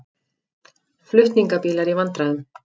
Flutningabílar í vandræðum